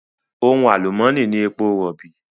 Ohun àlùmónì ni èpo rọ̀bì.